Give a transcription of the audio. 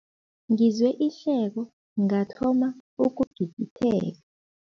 Ngizwe ihleko ngathoma ukugigitheka.